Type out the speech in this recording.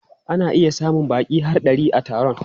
Ana iya samun baƙi har ɗari a taron.